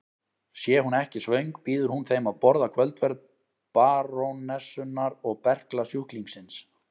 Sé hún ekki svöng býður hún þeim að borða kvöldverð barónessunnar og berklasjúklingsins.